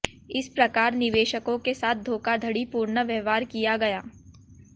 इस प्रकार निवेशकों के साथ धोखाधड़ीपूर्ण व्यवहार किया गया